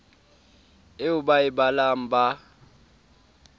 eo ba e balang ba